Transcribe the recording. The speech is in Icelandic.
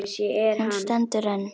Hún stendur enn.